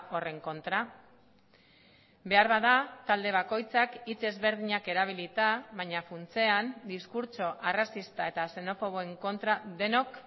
horren kontra beharbada talde bakoitzak hitz ezberdinak erabilita baina funtsean diskurtso arrazista eta xenofoboen kontra denok